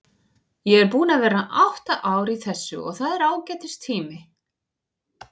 Ég er búinn að vera átta ár í þessu og það er ágætis tími.